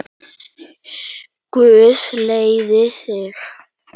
Guð leiði þig.